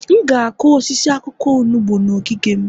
M ga-akụ osisi akwụkwọ onugbu n'ogige m